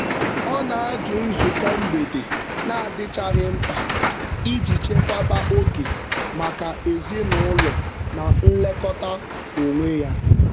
Ọ na-ajụ nzukọ mgbede na-adịchaghị mkpa iji chekwaba oge maka ezinụụlọ na nlekọta onwe ya.